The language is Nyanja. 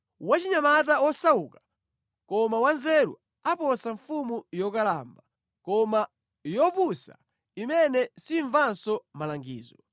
Wachinyamata wosauka koma wanzeru aposa mfumu yokalamba koma yopusa imene simvanso malangizo.